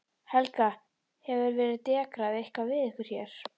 Helga: Hefur verið dekrað eitthvað við ykkur hér?